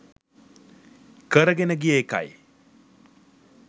කරගෙන ගිය එකයි.